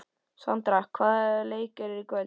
Sandra, hvaða leikir eru í kvöld?